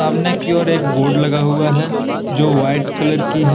सामने की ओर एक बोर्ड लगा हुआ है जो व्हाइट कलर की है।